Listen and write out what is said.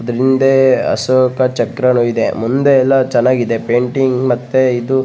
ಇದ್ರ್ ಹಿಂದೆ ಅಶೋಕ ಚಕ್ರನು ಇದೆ ಮುಂದೆ ಎಲ್ಲ ಚೆನ್ನಾಗಿದೆ ಪೈಟಿಂಗ್ ಮತ್ತೆ ಇದು --